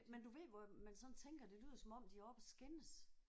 Men du ved hvor man sådan tænker det lyder som om de er oppe at skændes